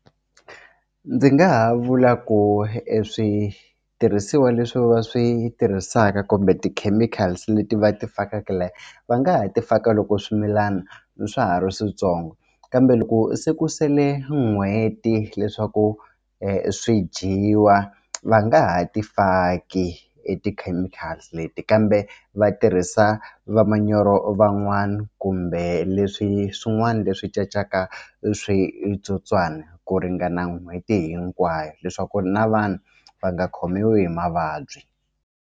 Ndzi nga ha vula ku e switirhisiwa leswi va swi tirhisaka kumbe ti-chemicals leti va ti fakaka laha va nga ha ti faka loko swimilana swa ha ri swintsongo kambe loko se ku sele n'hweti leswaku swi dyiwa va nga ha ti faki e ti-chemical leti kambe va tirhisa va manyoro van'wana kumbe leswi swin'wana leswi cacaka switsotswana ku ringana n'hweti hinkwayo leswaku na vanhu va nga khomiwi hi mavabyi.